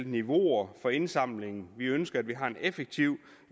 niveauer for indsamlingen vi ønsker at vi har en effektiv